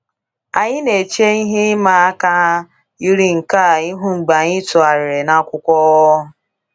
Anyị na-eche ihe ịma aka yiri nke a ihu mgbe anyị tụgharịrị n’akwụkwọ.